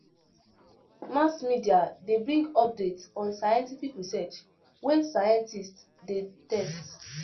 Mass media de bring updates on scientific research wey scientist de test